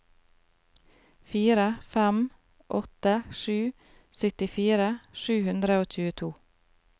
fire fem åtte sju syttifire sju hundre og tjueto